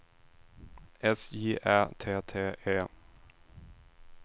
S J Ä T T E